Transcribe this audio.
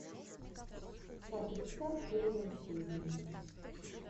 патрик стар первая серия